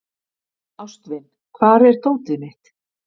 Ástvin, hvar er dótið mitt?